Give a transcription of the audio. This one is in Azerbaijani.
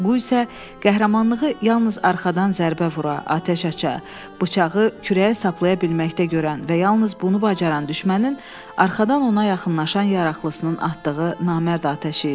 Bu isə qəhrəmanlığı yalnız arxadan zərbə vura, atəş aça, bıçağı kürəyə saplaya bilməkdə görən və yalnız bunu bacaran düşmənin arxadan ona yaxınlaşan yaraqlısının atdığı namərd atəşi idi.